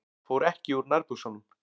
Fór ekki úr nærbuxunum.